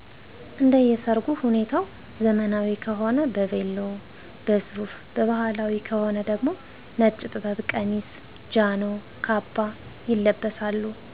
እንደየ ሰርጉ ሁኔታ ዘመናዊ ከሆነ በቬሎ፣ በሱፍ በባህላዊ ከሆነ ደግሞ ነጭ ጥበብ ቀሚስ፣ ጃኖ፣ ካባ ይለበሳሉ።